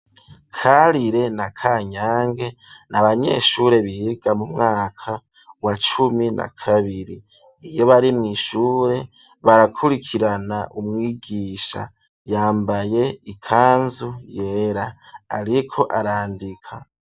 Karire na Kanyange ni abanyeshure biga mu mwaka wa cumi na kabiri iyo bari mw'ishure barakurikirana umwigisha yambaye ikanzu yera, ariko arandika.